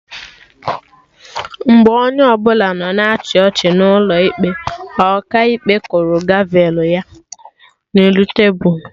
Mgbe onye ọbụla nọ na-achị ọchị n'ụlọ ikpe, Ọkaikpe kụrụ gavelụ ya na elu tebul